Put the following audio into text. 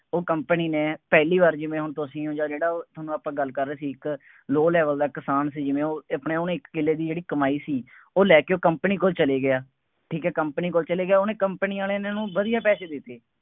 ਉਹ company ਨੇ ਪਹਿਲੀ ਵਾਰ ਜਿਵੇਂ ਹੁਣ ਤੁਸੀਂ ਹੋ ਜਾਂ ਜਿਹੜਾ ਉਹ ਤੁਹਾਨੂੰ ਆਪਾਂ ਗੱਲ ਕਰ ਰਹੇ ਸੀ, ਇੱਕ low level ਦਾ ਕਿਸਾਨ ਸੀ, ਜਿਵੇਂ ਉਹ ਆਪਣੇ ਉਹਨੇ ਇੱਕ ਕਿੱਲੇ ਦੀ ਜਿਹੜੀ ਕਮਾਈ ਸੀ, ਉਹ ਲੈ ਕੇ ਉਹ company ਕੋਲ ਚਲਾ ਗਿਆ। ਠੀਕ ਹੈ, company ਕੋਲ ਚਲਾ ਗਿਆ, ਉਹਨੇ company ਵਾਲੇ ਨੇ ਉਹਨੂੰ ਵਧੀਆ ਪੈਸੇ ਦਿੱਤੇ।